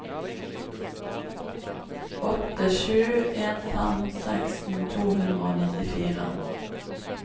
åtte sju en fem seksten to hundre og nittifire